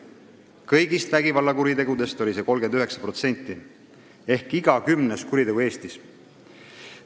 Kõigist vägivallakuritegudest moodustas see 39% ehk selline oli iga kümnes kuritegu Eestis.